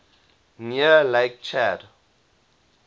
near lake chad